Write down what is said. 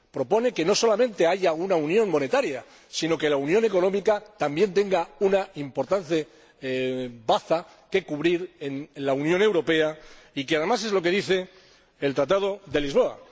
Propone que no solamente haya una unión monetaria, sino que la unión económica también ocupe un importante lugar en la Unión Europea, que, además, es lo que dice el Tratado de Lisboa.